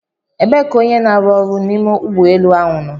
Ebee ka onye n'aru ọrụ n'ime ụgbọ elu ahụ nọ?